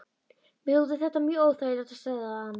Mér þótti þetta mjög óþægilegt og stöðvaði hann.